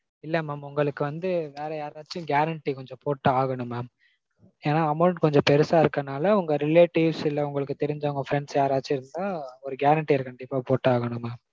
இல்ல mam. உங்களுக்கு வந்து வேற யாராச்சும் guarantee கொஞ்சம் போட்டு ஆகனும் mam. ஏன்னா amount கொஞ்சம் பெருசா இருக்கறதனால உங்க relatives இல்ல உங்களுக்கு தெரிஞ்சவங்க உங்க friends யாராச்சும் இருந்தா ஒரு guaranteer கண்டிப்பா போட்டு ஆகனும் mam